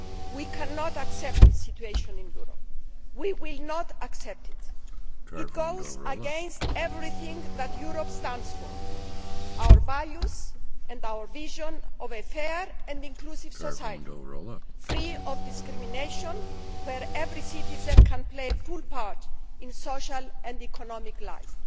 We cannot accept this situation in Europe. We will not accept it. It goes against everything that Europe stands for our values and our vision of a fair and inclusive society, free of discrimination, where every citizen can play a full part in social and economic life.